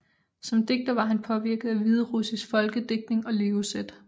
Som digter var han påvirket af hviderussisk folkedigtning og levesæt